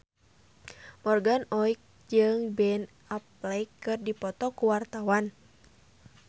Morgan Oey jeung Ben Affleck keur dipoto ku wartawan